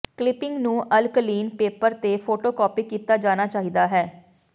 clipping ਨੂੰ alkaline paper ਤੇ photocopy ਕੀਤਾ ਜਾਣਾ ਚਾਹੀਦਾ ਹੈ